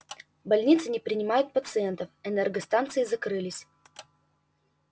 больницы не принимают пациентов энергостанции закрылись